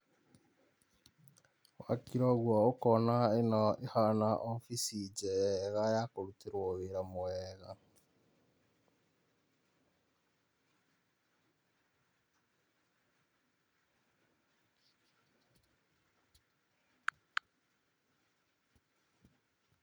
Wakira ũguo ũkona ĩno ĩhana obici njega ya kũrutĩrwo wĩra mwega.